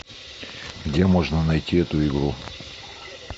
где можно найти эту игру